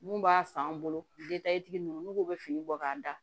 Mun b'a san an bolo tigi ninnu n'u bɛ fini bɔ k'a da